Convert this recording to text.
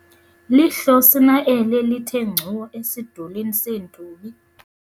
lihlosi na eli lithe ngcu esidulini seentubi?